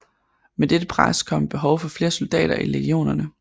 Med dette pres kom et behov for flere soldater i legionerne